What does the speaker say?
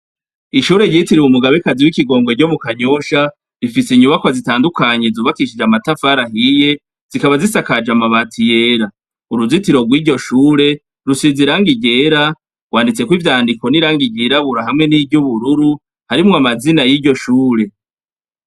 Ishure ryitiriwe Umugabekazi w'ikigongwe ryo mu kanyosha, rifise inyubakwa zitandukanye zubakishije amatafari ahiye, zikaba zisakaje amabati yera. Uruzitiro rw'iryo shure, rusize irangi ryera, rwanditseko ivyandiko n'irangi ryirabura hamwe n'iry'ubururu harimwo amazina y'iryo shure.